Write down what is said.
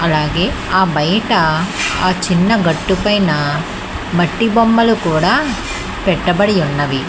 అలాగే ఆ బయట ఆ చిన్న గట్టు పైన మట్టి బొమ్మలు కూడా పెట్టబడి ఉన్నవి.